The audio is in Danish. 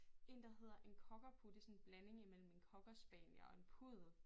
En der hedder en cockapoo det sådan en blanding imellem en cockerspaniel og en puddel